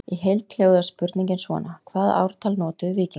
Í heild hljóðaði spurningin svona: Hvaða ártal notuðu víkingar?